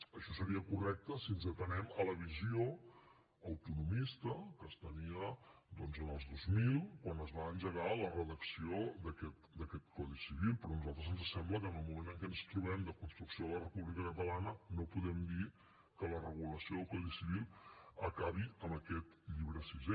això seria correcte si ens atenem a la visió autonomista que es tenia doncs en els dos mil quan es va engegar la redacció d’aquest codi civil però a nosaltres ens sembla que en el moment en què ens trobem de construcció de la república catalana no podem dir que la regulació del codi civil acabi amb aquest llibre sisè